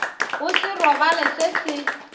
go se robale se se